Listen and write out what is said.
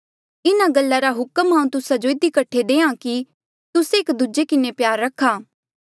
इन्हा गल्ला रा हुक्म हांऊँ तुस्सा जो इधी कठे देहां कि तुस्से एक दूजे किन्हें प्यार रखा